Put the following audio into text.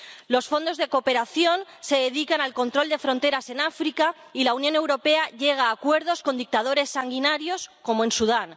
Los fondos de cooperación se dedican al control de fronteras en África, y la Unión Europea llega a acuerdos con dictadores sanguinarios, como en Sudán.